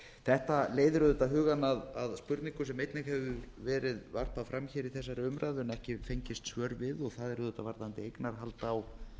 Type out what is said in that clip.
þetta leiðir auðvitað hugann að spurningu sem einnig hefur verið varpað fram í þessari umræðu en ekki fengist svör við og það er varðandi eignarhald á